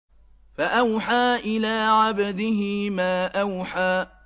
فَأَوْحَىٰ إِلَىٰ عَبْدِهِ مَا أَوْحَىٰ